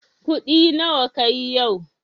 Kuɗi nawa kayi yau?